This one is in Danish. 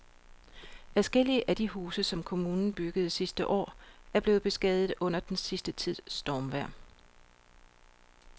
Adskillige af de huse, som kommunen byggede sidste år, er blevet beskadiget under den sidste tids stormvejr.